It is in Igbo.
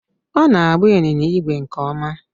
Ọ na-agba ịnyịnya ígwè nke ọma